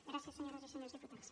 gràcies senyores i senyors diputats